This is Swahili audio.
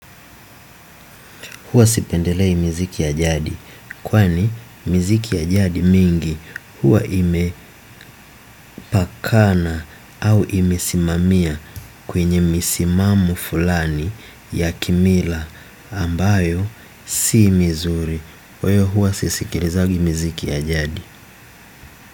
Huwa sipendelei miziki ya jadi kwani miziki ya jadi mingi huwa imepakana au imesimamia kwenye misimamo fulani ya kimila au ambayo si mizuri. Kwa hiyo huwa sisikilizangi miziki ya jadi.